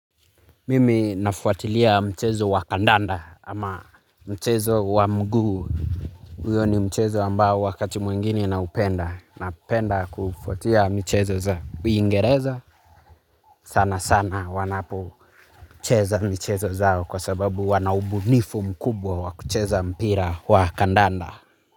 Mimi nafuatilia mchezo wa kandanda ama mchezo wa mguu. Huyo ni mchezo ambao wakati mwingine naupenda, napenda kufuatia michezo za uingereza. Sana sana wanapocheza michezo zao kwa sababu wanaubunifu mkubwa wa kucheza mpira wa kandanda.